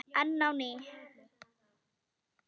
Enn á ný